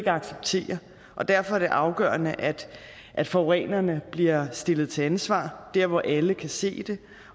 acceptere og derfor er det afgørende at at forurenerne bliver stillet til ansvar der hvor alle kan se det